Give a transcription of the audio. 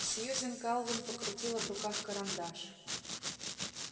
сьюзен калвин покрутила в руках карандаш